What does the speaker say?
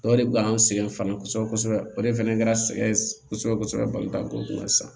O de bɛ an sɛgɛn fana kosɛbɛ kosɛbɛ o de fɛnɛ kɛra sɛgɛn kosɛbɛ kosɛbɛ kosɛbɛ balontan ko kunna sisan